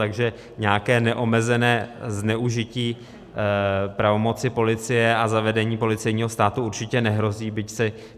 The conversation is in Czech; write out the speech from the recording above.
Takže nějaké neomezené zneužití pravomoci policie a zavedení policejního státu určitě nehrozí.